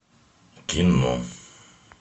кино